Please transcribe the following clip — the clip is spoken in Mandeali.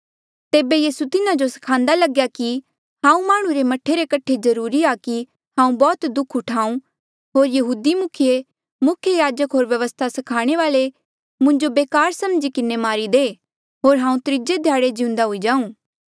तेबे यीसू तिन्हा जो स्खान्दा लग्या कि हांऊँ माह्णुं रे मह्ठे रे कठे जरूरी आ कि हांऊँ बौह्त दुःख उठाऊँ होर यहूदी मुखिये मुख्य याजक होर व्यवस्था स्खाणे वाल्ऐ मुंजो बेकार समझी किन्हें मारी दे होर हांऊँ त्रीजे ध्याड़े जिउंदा हुई जाऊँ